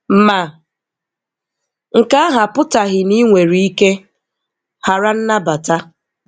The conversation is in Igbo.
Ma nke ahụ apụtaghị na ị nwere ike ghara nnabata.